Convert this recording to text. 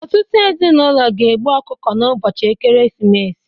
Ọtụtụ ezinụlọ ga-egbu ọkụkọ n'ụbọchị ekeresimesi